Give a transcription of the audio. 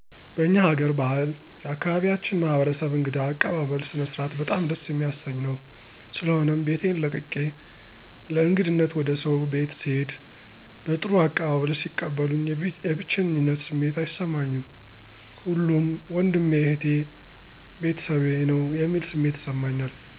በእኛ ሀገር ባህል የአካባቢያችን ማህበረሰብ እንግዳ አቀባበል ስነስርዓት በጣም ደስ የሚያሰኝ ነዉ። ስለሆነም ቤቴን ለቅቄ ለእንግድነት ወደ ሰዉ ቤት ስሄድ በጥሩ አቀባበል ሲቀበሉኝ የብቼኝነት ስሜት አይሰማኝም ሁሉም ወንድሜ እህቴ(ቤተሰቤ) ነዉ የሚል ስሜት ይሰማኛል።